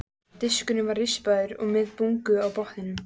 Diskurinn var rispaður og með bungu á botninum.